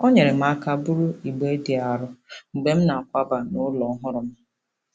O nyeere m aka buru igbe dị arọ mgbe m na-akwaba n'ụlọ ọhụrụ m.